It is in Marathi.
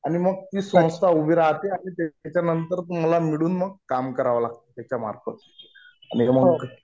आणि मग ती संस्था उभी राहते. आणि त्याच्यानंतर मग तुम्हाला मिळून मग काम करावं लागतं त्याच्यामार्फत. आणि मग